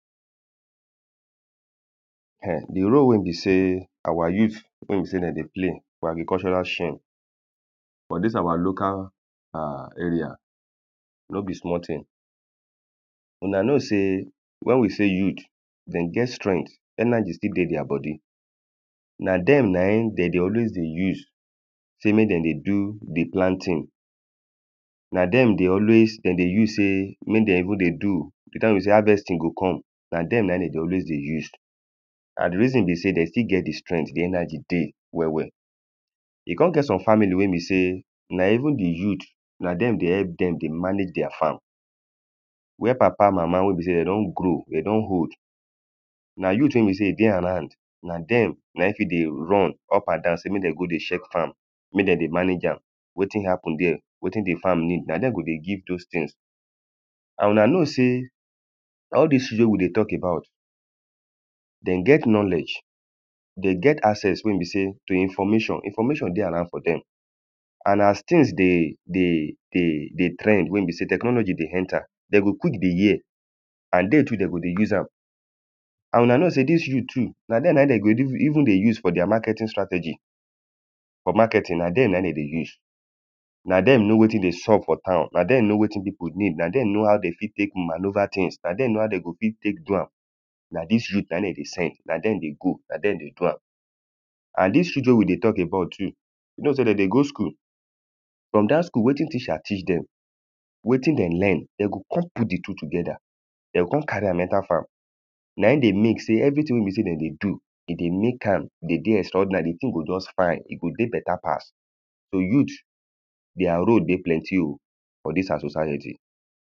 [um]the role wey be sey our youth wey be sey de dey play for agricultural chain for dis our local ah area no be small thing. Huna know sey, when we say youth? De get strength. energy still dey their body. Na dem na im de dey always dey use sey make de dey do the planting. Na dem dey always de dey use sey make de even they do the time wey be sey harvesting go come. Na dem na im de dey always dey use. And the reason be sey, de still get the strength. The energy dey well well. E con get some family wey be sey na even the youth na dem dey help dem dey manage their farm. Where papa mama wey be sey de don grow. De don old. Na youth wey be sey de dey around na dem na im fit dey run up and down sey make de go dey check farm. Make de dey manage am. Wetin happen dere? Wetin the farm need? Na dem go dey give dos things. And una know sey all dis things wey we dey talk about, de get knowledge. They get access wey be sey to information. Information dey around for dem. And as things dey dey dey dey trend wey be sey technology dey enter, de go quick dey hear and they too de go dey use am. And una know sey dis youth too, na de de go even they use for their marketing strategy. For marketing, na den na im de dey use. Na den know wetin dey sup for town. Na den know wetin people need. Na den know how de fit take manoeuvre thing. Na den know how de go fit take do am. Na dis youth na im de dey send. Na dem dey go, na dem dey do am. And dis youth wey we dey talk about too, e be like sey de dey go school. From dat school wetin teacher teach dem, wetin de learn, de go con put the two together. De o con carry am enter farm. Na im dey make sey everything wey be sey de dey do, e dey make am dey dey extraordinary. The thing go just fine. E go dey better pass. So youth, their role dey plenty oh for fid our society.